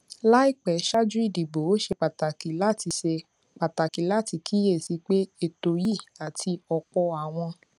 láìpé ṣáájú ìdìbò ó ṣe pàtàkì láti ṣe pàtàkì láti kíyè sí i pé ètò yìí àti òpò àwọn